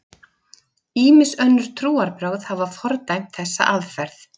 Ýmis önnur trúarbrögð hafa fordæmt þessa aðferð.